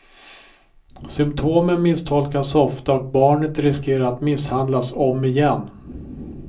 Symptomen misstolkas ofta och barnet riskerar att misshandlas om igen.